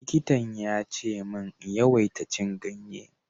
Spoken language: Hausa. Likitan ya ce min in yawaita cin ganye.